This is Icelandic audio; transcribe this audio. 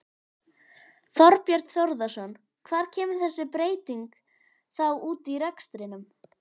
Þorbjörn Þórðarson: Hvar kemur þessi breyting þá út í rekstrinum?